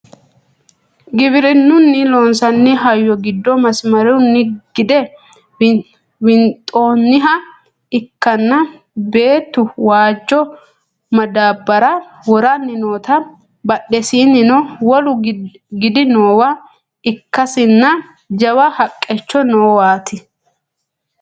Giwirinnunni loonsanni hayyo giddo masimarunni gide winxoonniha ikkanna beettu waajjo madaabbara woranni noota badhesiinnino wolu gidi noowa ikkasinna jawa haqqicho noowaati